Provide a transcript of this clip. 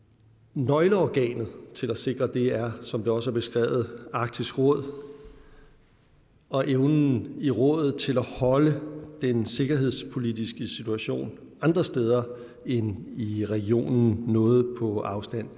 nøgleorganet til at sikre det er som det også er beskrevet arktisk råd og evnen i rådet til at holde den sikkerhedspolitiske situation andre steder end i regionen noget på afstand